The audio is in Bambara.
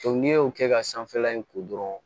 n'i y'o kɛ ka sanfɛla in ko dɔrɔn